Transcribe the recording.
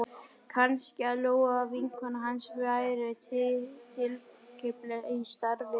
Kannski að Lóa vinkona hans væri tilkippileg í starfið?